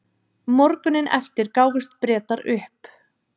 morguninn eftir gáfust bretar upp